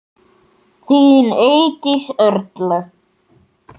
Þín Eydís Erla.